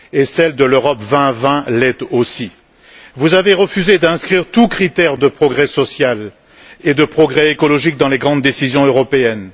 celle de l'Europe 2020 l'est aussi. Vous avez refusé d'inscrire tout critère de progrès social et de progrès écologique dans les grandes décisions européennes.